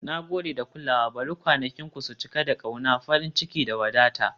Na gode da kulawa, bari kwanakinku su cika da ƙauna, farin ciki, da wadata. "